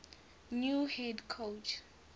new head coach